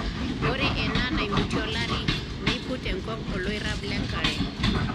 Ore enaa enaimutie olari, neiput enkop olairrab le nkare.